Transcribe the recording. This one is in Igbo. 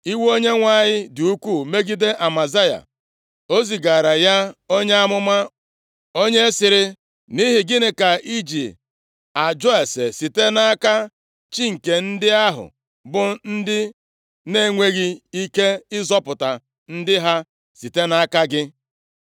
Iwe Onyenwe anyị dị ukwuu megide Amazaya. O zigaara ya onye amụma, onye sịrị, “Nʼihi gịnị ka iji ajụ ase site nʼaka chi nke ndị ahụ, bụ ndị na-enweghị ike ịzọpụta ndị ha site nʼaka gị?”